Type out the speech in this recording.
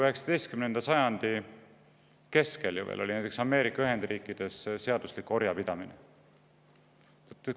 19. sajandi keskel oli Ameerika Ühendriikides orjapidamine seaduslik.